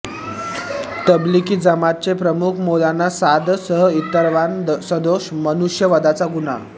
तबलिगी जमातचे प्रमुख मौलाना सादसह इतरांवर सदोष मनुष्यवधाचा गुन्हा